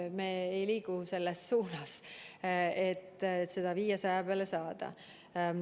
Aga me ei liigu selles suunas, et seda 500 peale saada.